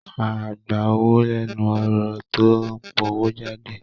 Áá gba owó lẹ́nu ẹ̀rọ tó ń powójáde